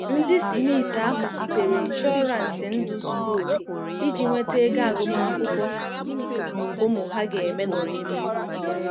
Ndị Smith ahụ butere ịnshọransị ndụ zuru oke iji nweta ego agụmakwụkwọ ụmụ ha ga-eme n'ọdịnihu.